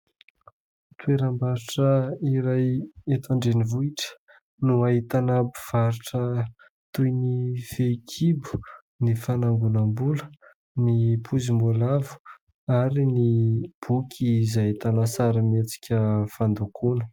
Toeram-barotra iray eto andrenivohitra no ahitana mpivarotra toy ny fehikibo, ny fanangonam- bola, ny pozim- boalavo ary ny boky izay ahitana sarimihetsika fandokoana.